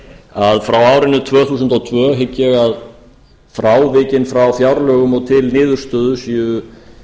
að frá árinu tvö þúsund og tvö hygg ég að frávikin frá fjárlögum og til niðurstöðu séu